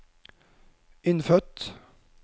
innfødt